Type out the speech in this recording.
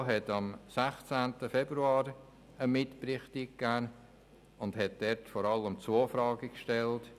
Die FiKo hat am 16. Februar einen Mitbericht eingegeben und darin vor allem zwei Fragen gestellt: